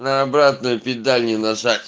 на обратную педаль не нажать